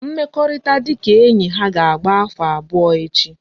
Mmekorita dika enyi ha ka agba afo abuo echi